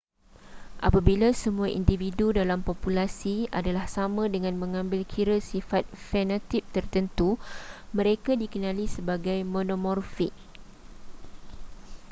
apabila semua individu dalam populasi adalah sama dengan mengambil kira sifat fenotip tertentu mereka dikenali sebagai monomorfik